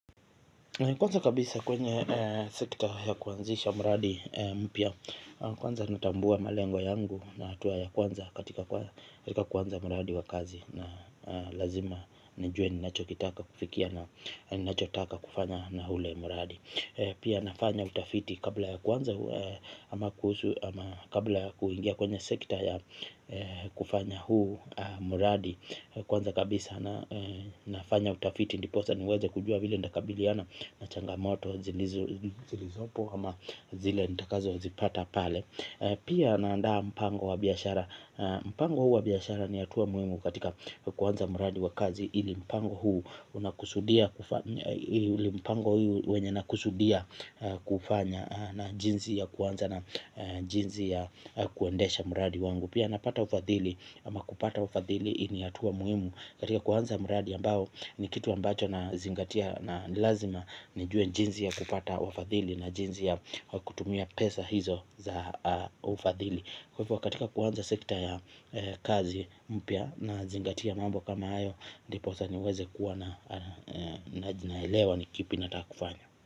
Kwanza kabisa kwenye sekta ya kuanzisha mradi mpya kwanza natambua malengwa yangu na atua ya kwanza katika kwanza mradi wa kazi. Na lazima nijue ninacho kitaka kufikia na ninacho taka kufanya na hule mradi. Pia nafanya utafiti kabla ya kwanza ama kuingia kwenye sekta ya kufanya huu muradi. Kwanza kabisa na nafanya utafiti ndiposa niweze kujua vile ndakabiliana na changamoto zilizopo ama zile nitakazo zipata pale. Pia naandaa mpango wa biashara. Mpango huu wa biashara ni atuwa muimu katika kuanza mradi wa kazi ili mpango huu unakusudia kufanya na jinzi ya kuanza na jinzi ya kuendesha mradi wangu. Pia napata ufadhili ama kupata ufadhili ini atua muimu katika kuanza mradi ambao ni kitu ambacho na zingatia na nilazima nijue jinzi ya kupata wafadhili na jinzi ya kutumia pesa hizo za ufadhili. Kwa hivyo katika kuanza sekta ya kazi mpya na zingatia mambo kama hayo. Ndiposa niweze kuwa na jinaelewa ni kipi na takufanya.